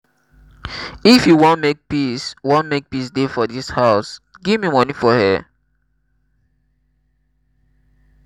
if you wan make peace wan make peace dey for dis house give me money for hair?